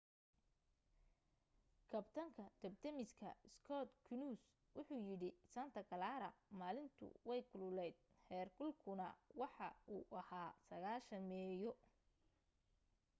kabtanka dabdamiska skot kouns wuxu yidhi santa clara maalintu way kululayd heerkulkuna waxa uu ahaa 90meeyo